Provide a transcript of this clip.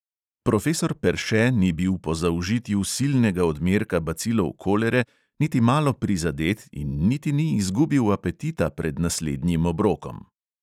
Profesor perše ni bil po zaužitju silnega odmerka bacilov kolere niti malo prizadet in niti ni izgubil apetita pred naslednjim obrokom.